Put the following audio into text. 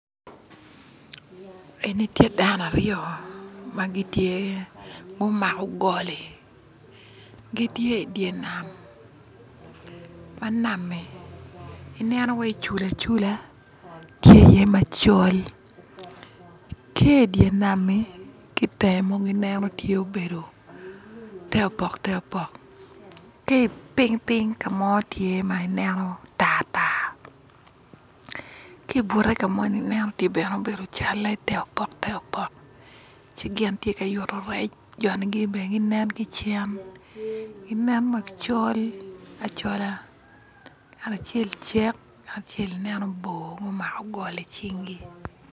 Eni tye dano aryo ma gitye gumako goli gitye i dyer nam, ma nam-mi i neno wai cula cula tye iye macol tye i dyer nam-mi ki itenge mogo i neno tye obedo te opok te opok ki i piny pinye tye ka mo nen tartar ki i bute ka moni nen tye bene cal-le te opok te opok ci gin tye ka yuto rec joni bene ginen ki cen ginen ma gicol acola ngat acel cek ngat i neno bor mu mako goli i cingi